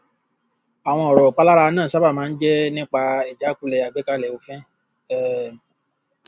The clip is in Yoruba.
àwọn ọrọ ìpalára náà sáábà máa ń jẹ nípa ijakule àgbékalẹ òfin um